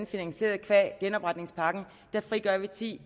finansieret qua genopretningspakken her frigør vi ti